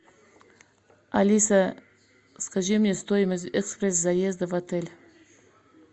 алиса скажи мне стоимость экспресс заезда в отель